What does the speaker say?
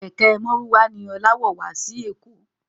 Kẹ̀kẹ́ márúwá ni Ọlá wọ̀ wá sí èkó